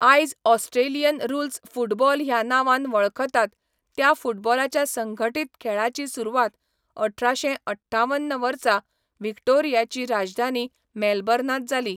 आयज Australian rules football ह्या नांवान वळखतात त्या फुटबॉलाच्या संघटीत खेळाची सुरवात अठराशें अठ्ठावन वर्सा व्हिक्टोरियाची राजधानी मेलबर्नांत जाली.